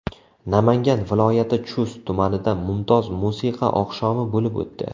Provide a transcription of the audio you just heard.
Namangan viloyati Chust tumanida mumtoz musiqa oqshomi bo‘lib o‘tdi.